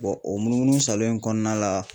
o munu munu salo in kɔnɔna la